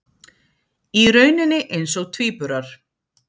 Í rauninni eins og tvíburar.